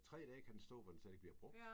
3 dage kan den stå hvor den slet ikke bliver brugt